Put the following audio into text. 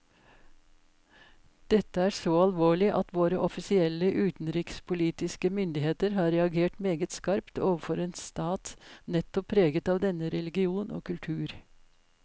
Dette er så alvorlig at våre offisielle utenrikspolitiske myndigheter har reagert meget skarpt overfor en stat nettopp preget av denne religion og kultur.